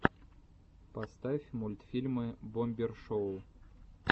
поставь мультфильмы бомбер шоу